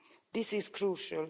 This is crucial.